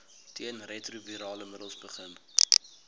teenretrovirale middels begin